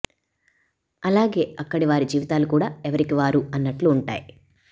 అలాగే అక్కడి వారి జీవితాలు కూడా ఎవరికీ వారు అన్నట్లు ఉంటాయి